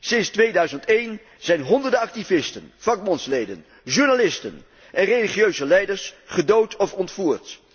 Sinds 2001 zijn honderden activisten, vakbondsleden, journalisten en religieuze leiders gedood of ontvoerd.